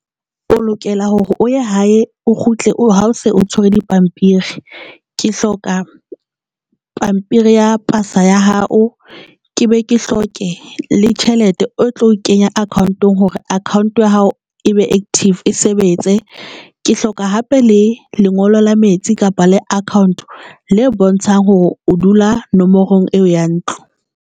O lokela hore o ya hae, o kgutle ha o se o tshwere dipampiri, ke hloka pampiri ya pasa ya hao, ke be ke hloke le tjhelete o tlo e kenya account-ong hore account ya hao e be active e sebetse. Ke hloka hape le lengolo la metsi kapa le account le bontshang hore o dula nomorong eo ya ntlo.